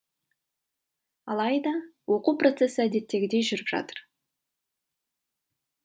алайда оқу процесі әдеттегідей жүріп жатыр